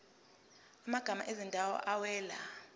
amagama ezindawo awela